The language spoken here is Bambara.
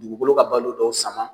Dugukolo ka balo dɔw saman.